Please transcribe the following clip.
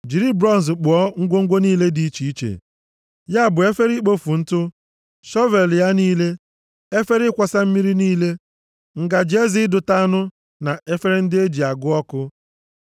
Jiri bronz kpụọ ngwongwo niile dị iche iche, ya bụ efere ikpofu ntụ, shọvel ya niile, efere ịkwọsa mmiri niile, ngaji eze ịdụta anụ na efere ndị e ji agụ ọkụ.